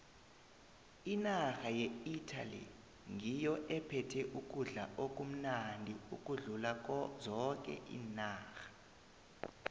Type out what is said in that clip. inarha yeitaly ngiyo epheka ukudla okumnandi ukudlula zoke iinarha